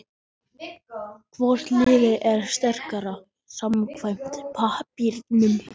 Hvort liðið er sterkara samkvæmt pappírnum?